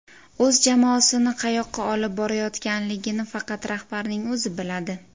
O‘z jamoasini qayoqqa olib borayotganligini faqat rahbarning o‘zi biladi.